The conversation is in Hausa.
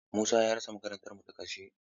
Musa ya rasa makar mu ta ƙarshe.